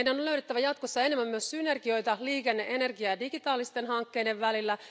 Meidän on löydettävä jatkossa enemmän myös synergioita liikenne energia ja digitaalisten hankkeiden